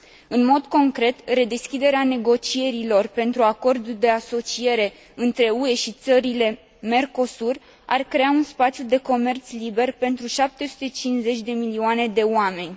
În mod concret, redeschiderea negocierilor pentru acordul de asociere între UE și țările Mercosur ar crea un spațiu de comerț liber pentru 750 de milioane de oameni.